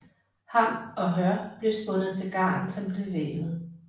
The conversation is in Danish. Hamp og hør blev spundet til garn som blev vævet